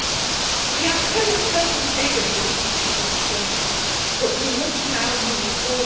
The outcome of Copenhagen was deeply disappointing, but we must now move forward.